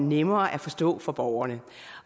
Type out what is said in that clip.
nemmere at forstå for borgerne